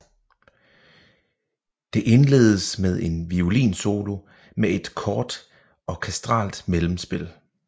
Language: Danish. Det indledes med en violinsolo med et kort orkestralt mellemspil